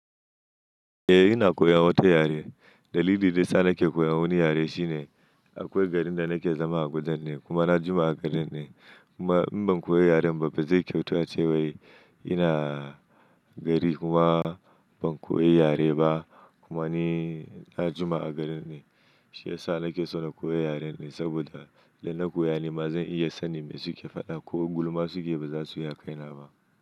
Eh, ina koya wata yare. Dalilin da ya sa nake koyan wani yare shine akwai garin da nake zama a Kudan ne kuma na jima a garin ne. Kuma in ban koya yaren ba, ba zai kyautu a cewa ina gari kuma ban koya yare ba. Kuma ni na jima a garin ne. Shi ya sa nake so na koya yaren ne saboda idan na koya ni ma zan iya sanin me suke faɗa ko gulma suke yi, ba za su yi a kaina ba.